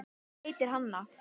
Hún heitir Hanna.